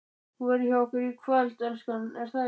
ÞÚ VERÐUR HJÁ OKKUR Í KVÖLD, ELSKAN, ER ÞAÐ EKKI?